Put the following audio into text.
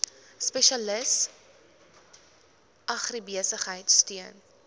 spesialis agribesigheid steun